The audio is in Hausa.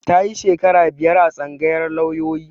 Ta yi shekara biyar a tsangayar lauyoyi